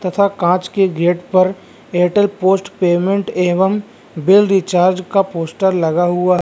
तथा कांच के गेट पर एयरटेल पोस्ट पेमेंट एवं बिल रिचार्ज का पोस्टर लगा हुआ --